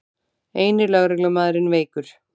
Eini lögreglumaðurinn veikur